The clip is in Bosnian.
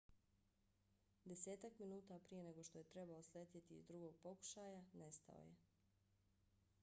desetak minuta prije nego što je trebao sletjeti iz drugog pokušaja nestao je